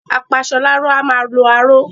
Apasọláró a máa lo aró